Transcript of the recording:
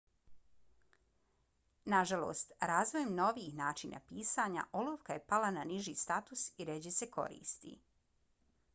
nažalost razvojem novijih načina pisanja olovka je pala na niži status i rjeđe se koristi